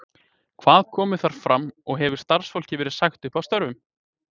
Hvað kom þar fram og hefur starfsfólki verið sagt upp störfum?